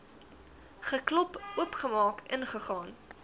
geklop oopgemaak ingegaan